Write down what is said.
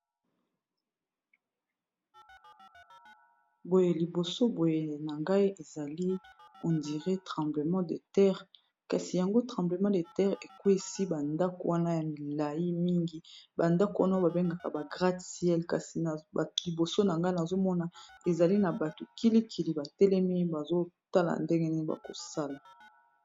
Boye liboso boye na ngai ezali hondire tremblement de terre kasi yango tremblement de terre ekwesi bandako wana ya milai mingi bandako wana babengaka ba grade cielle kasi liboso na ngai nazomona ezali na bato kilikili batelemi bazotala ndenge nii bakosala